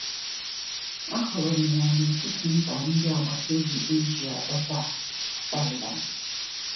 Ahụrụ m ya n’etiti mba ndị agbata obi Asia ebe a na Thailand.